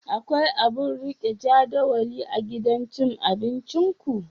Akwai abun rike jadawali a gidan cin abinciku?